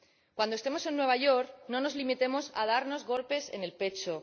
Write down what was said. Cuando estemos en Nueva York, no nos limitemos a darnos golpes en el pecho.